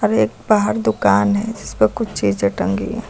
एक बाहर दुकान है इसपे कुछ चीजें टंगी हैं।